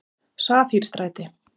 Safírstræti